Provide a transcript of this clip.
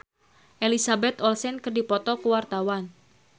Pamela Bowie jeung Elizabeth Olsen keur dipoto ku wartawan